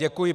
Děkuji.